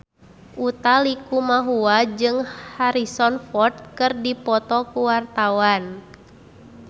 Utha Likumahua jeung Harrison Ford keur dipoto ku wartawan